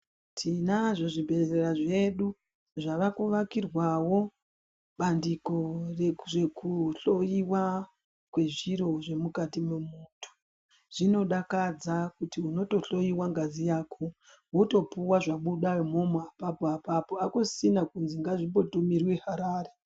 Tinazvo zvibhedhlera zvedu zvave kuvakirwawo bandiko rezvekuhloyiwa kwezviro zvemukati mwemuntu. Zvinodakadza kuti unotohloyiwe ngazi yako wotopuwe zvabudemwo apapo apapo akusisina kuti ngazvi mbotumirwe Harare.